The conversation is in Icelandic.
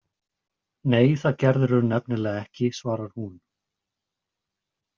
Nei, það gerirðu nefnilega ekki, svarar hún.